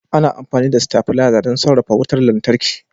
Ana amfani da stabilaiza don sarrafa wutar lantarki.